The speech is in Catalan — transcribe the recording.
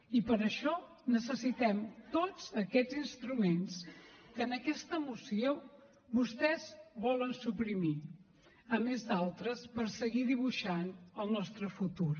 i per això necessitem tots aquests instruments que en aquesta moció vostès volen suprimir a més d’altres per seguir dibuixant el nostre futur